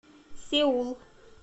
сеул